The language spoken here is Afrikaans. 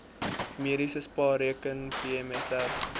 mediese spaarrekening pmsr